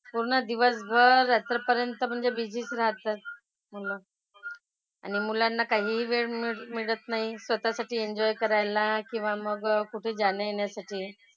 पूर्ण दिवसभर रात्रीपर्यंत म्हणजे busy च राहतात. मुलं. आणि मुलांना काहीही वेळ मिळत नाही स्वतःसाठी enjoy करायला किंवा मग कुठे जाण्यायेण्यासाठी.